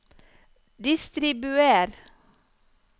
distribuer